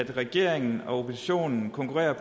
regeringen og oppositionen konkurrerer